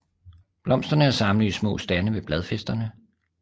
Blomsterne er samlet i små stande ved bladfæsterne